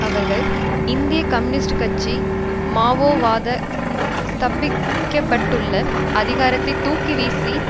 அவர்கள் இந்திய கம்யூனிஸ்ட் கட்சி மாவோவாத ஸ்தாபிக்கப்பட்டுள்ள அதிகாரத்தை தூக்கி வீசி